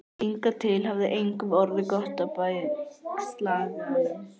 Hingað til hafði engum orðið gott af bægslagangi.